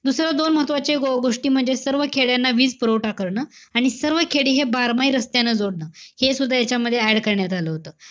दुसरं दोन महत्वाचे गो~ गोष्टी म्हणजे सर्व खेड्यात वीजपुरवठा करणं. आणि सर्व खेडी हे बारमाई रस्त्यांना जोडणं. हे सुद्धा यांच्यामध्ये add करण्यात आलं होतं.